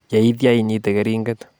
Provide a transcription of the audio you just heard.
Yeitya inyite keringet